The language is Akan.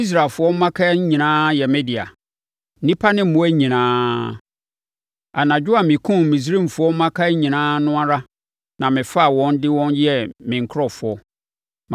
Ɛfiri sɛ, Israelfoɔ mmakan nyinaa yɛ me dea—nnipa ne mmoa nyinaa. Anadwo a mekumm Misraimfoɔ mmakan nyinaa no ara na mefaa wɔn de wɔn yɛɛ me nkurɔfoɔ.